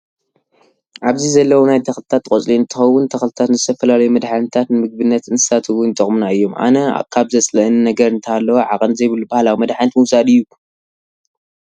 ኣብዚ ዘለው ናይ ተኽሊታት ቆፅሊ እንትኮውን ተክሊታት ንዝተፈላለዩ መድሓኒታት፣ ንምግብነት እንስሳት እውን ይጠቅሙና እዮም። ኣነ ካብ ዘፅለኣኒ ነገር እንተሃለው ዓቀን ዘይብሉ ባህላዊ መድሓት ምውሳድ እዩ።